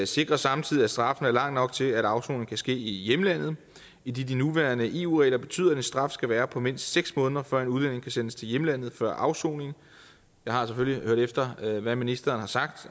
sikrer samtidig at straffen er lang nok til at afsoningen kan ske i hjemlandet idet de nuværende eu regler betyder at en straf skal være på mindst seks måneder før en udlænding kan sendes til hjemlandet før afsoning jeg har selvfølgelig hørt efter hvad ministeren har sagt